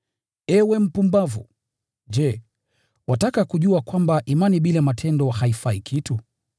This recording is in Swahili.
Ewe mpumbavu! Je, wataka kujua kwamba imani bila matendo haifai kitu?